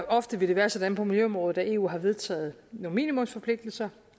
ofte vil det være sådan på miljøområdet at eu har vedtaget nogle minimumsforpligtelser